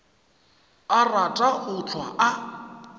a rata go hlwa a